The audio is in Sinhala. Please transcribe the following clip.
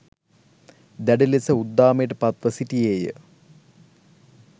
දැඩි ලෙස උද්දාමයට පත්ව සිටියේය